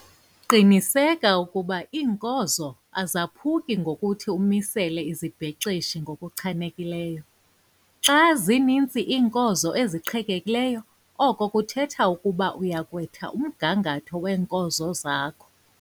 Qiniseka ukuba iinkozo azaphuki ngokuthi umisele izibhexeshi ngokuchanekileyo. Xa zininzi iinkozo eziqhekekileyo oko kuthetha ukuba uya kwetha umgangatho weenkozo zakho.